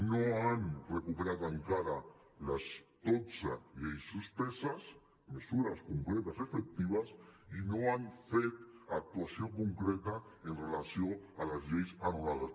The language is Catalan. no han recuperat encara les dotze lleis suspeses mesures concretes i efectives i no han fet actuació concreta amb relació a les lleis anul·lades